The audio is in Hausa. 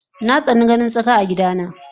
Natsani ganin tsaka a gida na